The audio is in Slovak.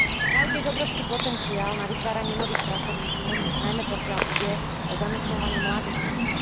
Majú tiež obrovský potenciál na vytváranie nových pracovných miest, najmä pokiaľ ide o zamestnávanie mladých ľudí.